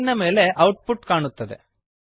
screen ನ ಮೇಲೆ output ಕಾಣುತ್ತದೆ